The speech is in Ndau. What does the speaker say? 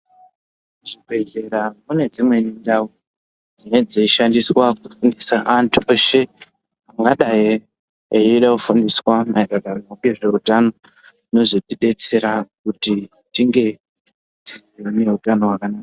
Muzvibhedhlera mune dzimweni ndau dzinonge dzeishandiswa kufundisa antu eshe ungadai eide kufundiswa maererano ngezve utano zvino zotidetsera kuti tinge tine utano hwakanaka.